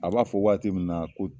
A b'a fɔ waati min na ko